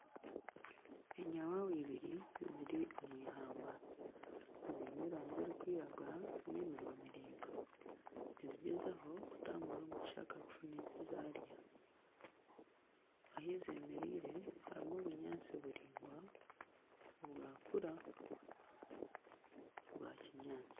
Enyawawa ibiri ziri omw'eihamba ziine erangi erikwiragura n'eminwa miringwa nizigyezaho kutambura omu kishaka kufuna ekizarya . Ahi zemereire harimu obunyaantsi buringwa bwakura bwa kinyaantsi.